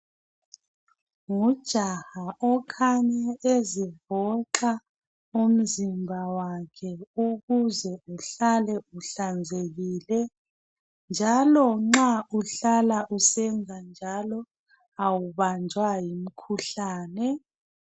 Ngujaha okhanya ezivoxa umzimba wakhe ukuze uhlale uhlanzekile. Njalo nxa uhlala usenza njalo awubanjwa ngumkhuhlane.